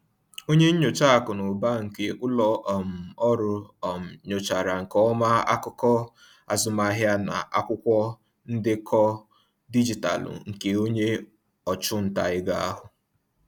Onye nyocha akụ na ụba nke ụlọ um ọrụ um nyochachara nke ọma akụkọ azụmahịa na akwụkwọ ndekọ dijitalụ nke onye ọchụnta ego ahụ.